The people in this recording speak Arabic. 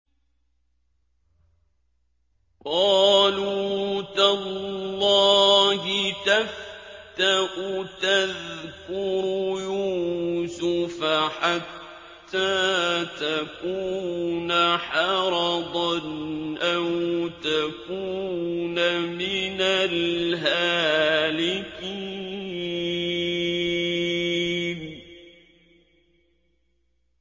قَالُوا تَاللَّهِ تَفْتَأُ تَذْكُرُ يُوسُفَ حَتَّىٰ تَكُونَ حَرَضًا أَوْ تَكُونَ مِنَ الْهَالِكِينَ